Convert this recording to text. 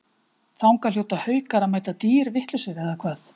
Þangað hljóta Haukar að mæta dýrvitlausir eða hvað?